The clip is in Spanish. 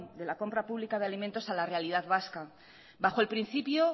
de la compra pública de alimentos a la realidad vasca bajo el principio